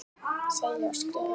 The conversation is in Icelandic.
Segi og skrifa það.